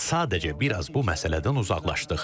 Sadəcə bir az bu məsələdən uzaqlaşdıq.